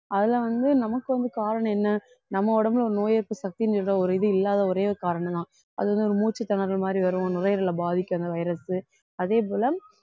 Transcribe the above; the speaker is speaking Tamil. அதுல வந்து நமக்கு வந்து காரணம் என்ன நம்ம உடம்புல ஒரு நோய் எதிர்ப்பு சக்திங்கிற ஒரு இது இல்லாத ஒரே ஒரு காரணம்தான் அது வந்து ஒரு மூச்சுத்திணறல் மாதிரி வரும் நுரையீரலை பாதிக்கும் அந்த virus அதே போல